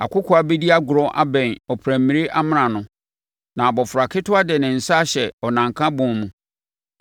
Akokoaa bɛdi agorɔ abɛn ɔprammire amena ano, na abɔfra ketewa de ne nsa ahyɛ ɔnanka bɔn mu.